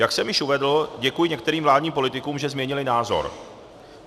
Jak jsem již uvedl, děkuji některým vládním politikům, že změnili názor.